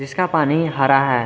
इसका पानी हरा है।